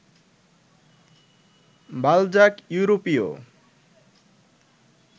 Balzac ইউরোপীয়